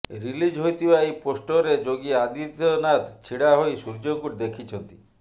release ହୋଇଥିବା ଏହି ପୋଷ୍ଟରରେ ଯୋଗୀ ଆଦିତ୍ୟନାଥ ଛିଡା ହୋଇ ସୂର୍ଯ୍ୟଙ୍କୁ ଦେଖିଛନ୍ତି